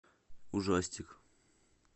ужастик